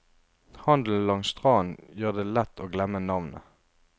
Handelen langs stranden gjør det lett å glemme navnet.